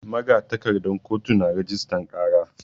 Magatakardan kotu na rajistan ƙara.